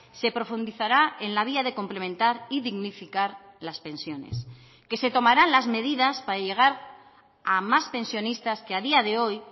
se profundizará en la vía de complementar y dignificar las pensiones que se tomarán las medidas para llegar a más pensionistas que a día de hoy